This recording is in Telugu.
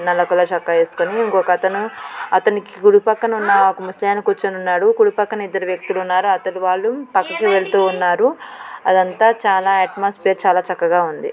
నల్ల కలర్ షోక్కా ఏస్కుని ఇంకొకతను అతనికి కుడి పక్కన ఉన్న ఒక ముసలాయన కూర్చుని ఉన్నాడు కుడి పక్కన ఇద్దరు వ్యక్తులు ఉన్నారు అతడి వాళ్ళు పక్కకి వెళ్తూ ఉన్నారు అదంతా చాలా అట్ట్మోస్ఫేర్ చాలా చక్కగా ఉంది .